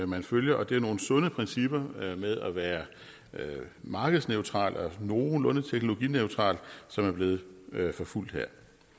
man følger og det er nogle sunde principper med at være markedsneutral og nogenlunde teknologineutral som er blevet fulgt her